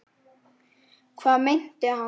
Hvað meinti hann?